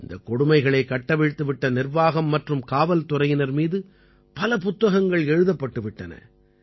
இந்தக் கொடுமைகளைக் கட்டவிழ்த்து விட்ட நிர்வாகம் மற்றும் காவல்துறையினர் மீது பல புத்தகங்கள் எழுதப்பட்டுவிட்டன